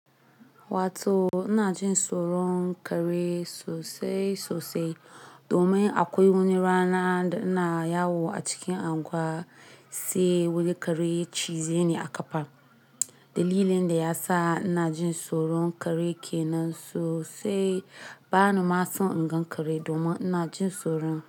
Wato ina jin tsoro kare sosai sosai domin akwai wani rana da ina yawo a cikin anguwa sai wani kare cize ni a kafa. Dalilin da yasa ina jin tsoron kare kenan sosai bani ma son ingan kare domin ina jin tsoro.